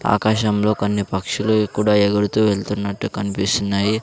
ఆకాశంలో కొన్ని పక్షులు వి కూడా ఎగురుతూ వెళ్తున్నట్టు కనిపిస్తున్నాయి.